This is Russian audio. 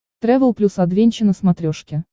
трэвел плюс адвенча на смотрешке